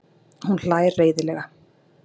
Hún hlær reiðilega.